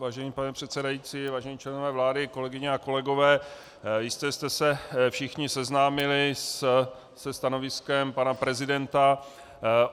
Vážený pane předsedající, vážení členové vlády, kolegyně a kolegové, jistě jste se všichni seznámili se stanoviskem pana prezidenta.